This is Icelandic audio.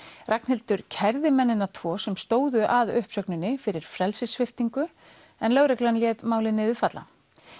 Ragnhildur kærði mennina tvo sem stóðu að uppsögninni fyrir frelsissviptingu en lögreglan lét málið niður falla